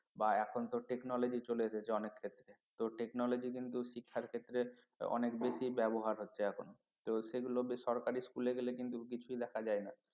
বা এখন তো technology চলে এসেছে অনেক ক্ষেত্রে তো technology কিন্তু শিক্ষার ক্ষেত্রে অনেক বেশি ব্যবহার হচ্ছে এখন তো সেগুলোকে সরকারি school এ গেলে কিন্তু কিছুই দেখা যায় না